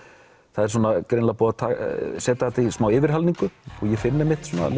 það er greinilega búið að setja þetta í smá yfirhalningu og ég finn einmitt að